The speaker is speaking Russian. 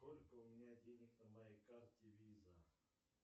сколько у меня денег на моей карте виза